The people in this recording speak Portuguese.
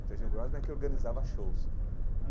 O Serginho Grosman é quem organizava shows.